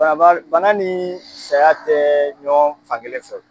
Bana ni saya tɛ ɲɔgɔh fankelen fɛ wo!